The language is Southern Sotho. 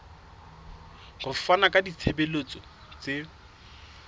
ho fana ka ditshebeletso tse